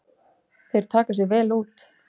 Þeir taka sig vel út.